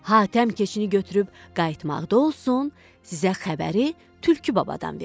Hatəm keçini götürüb qayıtmaqda olsun, sizə xəbəri tülkü babadan verim.